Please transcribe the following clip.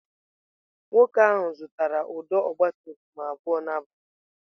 Nwoke ahụ zụtara ụdọ ọgabtumtum abụọ n'abalị ụnyaahụ.